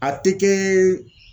A tɛ kɛ